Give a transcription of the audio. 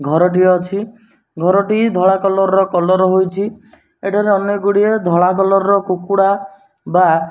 ଘର ଟିଏ ଅଛି ଘର ଟି ଧଳା କଲର୍ କଲର୍ ହୋଇଚି ଏଠାରେ ଅନେକ ଗୁଡ଼ିଏ ଧଳା କଲର୍ ର କୁକୁଡ଼ା ବା --